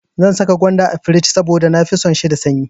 Zan saka gwanda a firij saboda na fi son shi da sanyi.